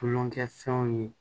Tulonkɛ fɛnw ye